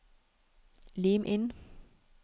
Lim inn